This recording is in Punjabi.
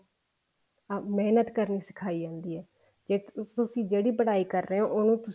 ਮਿਹਨਤ ਕਰਨੀ ਸਿਖਾਈ ਜਾਂਦੀ ਹੈ ਕੇ ਤੁਸੀਂ ਜਿਹੜੀ ਪੜ੍ਹਾਈ ਕਰ ਰਹੇ ਹੋ ਉਹਨੂੰ ਤੁਸੀਂ